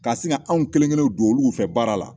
K'a sin ka anw kelenkelennin don olu fɛ baara la